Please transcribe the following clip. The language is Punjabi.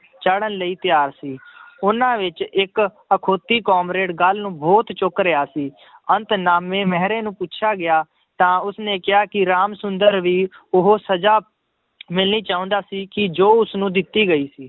ਚਾੜ੍ਹਨ ਲਈ ਤਿਆਰ ਸੀ ਉਹਨਾਂ ਵਿੱਚ ਇੱਕ ਅਖਾਉਤੀ ਕਾਮਰੇਡ ਗੱਲ ਨੂੰ ਬਹੁਤ ਚੁੱਕ ਰਿਹਾ ਸੀ ਅੰਤ ਨਾਮੇ ਮਹਿਰੇ ਨੂੰ ਪੁੱਛਿਆ ਗਿਆ ਤਾਂ ਉਸਨੇ ਕਿਹਾ ਕਿ ਰਾਮ ਸੁੰਦਰ ਵੀ ਉਹ ਸਜ਼ਾ ਮਿਲਣੀ ਚਾਹੁੰਦਾ ਸੀ ਕਿ ਜੋ ਉਸਨੂੰ ਦਿੱਤੀ ਗਈ ਸੀ।